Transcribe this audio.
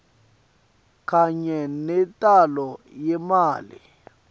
kanye nentalo yemali